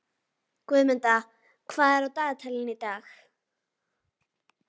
Guðmunda, hvað er á dagatalinu í dag?